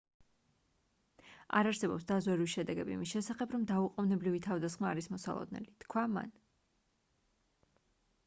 არ არსებობს დაზვერვის შედეგები იმის შესახებ რომ დაუყოვნებლივი თავდასხმა არის მოსალოდნელი - თქვა მან